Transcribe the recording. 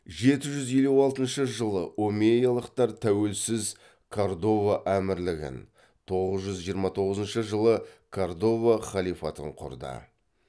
жеті жүз елу алтыншы жылы омейялықтар тәуелсіз кордова әмірлігін тоғыз жүз жиырма тоғызыншы жылы кордова халифатын құрды